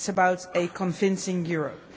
It is about a convincing Europe.